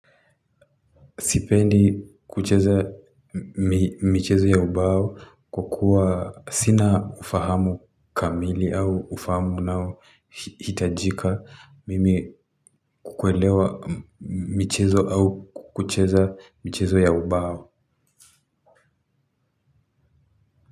Sipendi kucheza michezo ya ubao kwa kuwa sina ufahamu kamili au ufahamu unao hitajika mimi kuelewa michezo au kucheza michezo ya ubao.